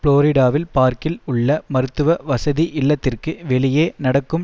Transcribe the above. புளோரிடாவில் பார்க்கில் உள்ள மருத்துவ வசதி இல்லத்திற்கு வெளியே நடக்கும்